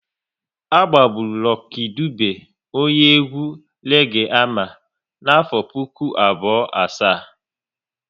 A gbagburu Lucky Dube, onye egwu reege ama n'afọ puku abụọ asaa